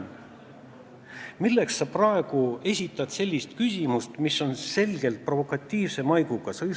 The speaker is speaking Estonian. Aga miks sa praegu esitasid sellise küsimuse, mis on selgelt provokatiivse maiguga?